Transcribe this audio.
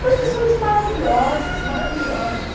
Professores maravilhosos, maravilhosos.